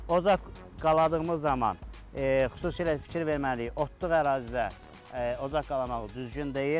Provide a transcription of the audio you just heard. Ocaq qaldığımız zaman xüsusilə fikir verməliyik, otluq ərazidə ocaq qalamağımız düzgün deyil.